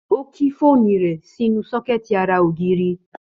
Ó ki fóònù rẹ̀ sínú sọ́kẹ̀tì ara ògiri